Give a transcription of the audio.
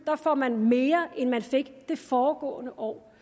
får man mere end man fik det foregående år